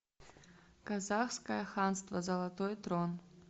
казахское ханство золотой трон